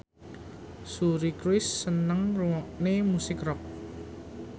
Suri Cruise seneng ngrungokne musik rock